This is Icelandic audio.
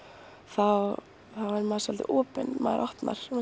þá verður maður svolítið opinn maður